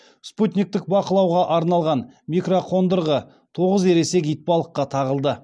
спутниктік бақылауға арналған микроқондырғы тоғыз ересек итбалыққа тағылды